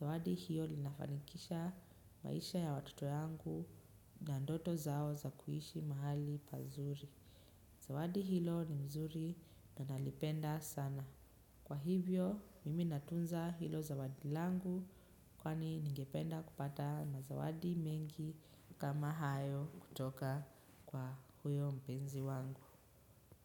zawadi hilo linafanikisha maisha ya watoto yangu na ndoto zao za kuishi mahali pazuri. Zawadi hilo ni mzuri na nalipenda sana. Kwa hivyo, mimi natunza hilo zawadi langu kwani ningependa kupata na zawadi mengi kama hayo kutoka kwa huyo mpenzi wangu.